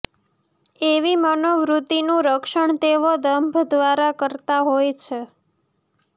એવી મનોવૃત્તિનું રક્ષણ તેઓ દંભ દ્વારા કરતા હોય છે